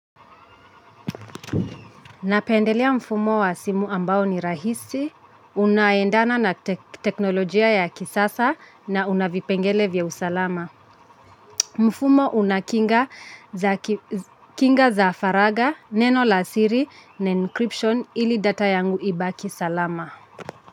Napendelea mfumo wa simu ambao ni rahisi, unaendana na teknolojia ya kisasa na una vipengele vya usalama. Mfumo una kinga za faragha, neno la siri na encryption ili data yangu ibaki salama.